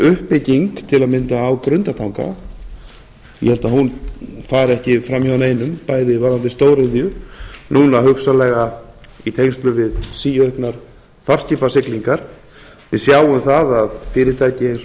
uppbygging til að mynda á grundartanga ég held að hún fari ekki fram hjá neinum bæði varðandi stóriðju núna hugsanlega í tengslum við síauknar farskipasiglingar við sjáum að fyrirtæki eins og